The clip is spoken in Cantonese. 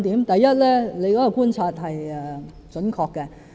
第一，張議員的觀察是準確的。